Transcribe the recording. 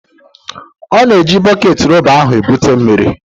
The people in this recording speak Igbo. Ọ na-eji bọket rọba ahụ ebuta mmiri.